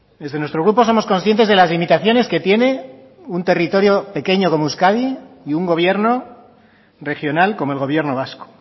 desde nuestro grupo somos conscientes de las limitaciones que tiene un territorio pequeño como euskadi y un gobierno regional como el gobierno vasco